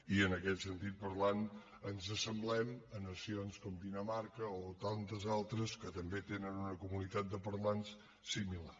i en aquest sentit parlant ens assemblem a nacions com dinamarca o tantes altres que també tenen una comunitat de parlants similar